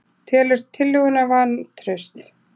Telur tillöguna vantraust